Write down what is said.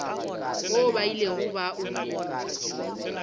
woo ba ilego ba o